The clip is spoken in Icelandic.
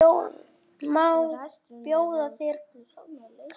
Má bjóða þér kaffi?